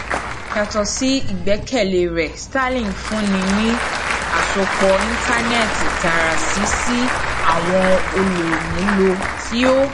yato si igbẹkẹle rẹ starlink n funni ni asopọ intanẹẹti taara si si awọn olumulo ti o